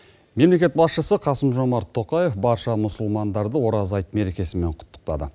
мемлекет басшысы қасым жомарт тоқаев барша мұсылмандарды ораза айт мерекесімен құттықтады